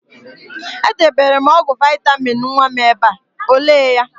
E debere m ọgwụ vaịtamịn nwa m ebe a, o lee ya?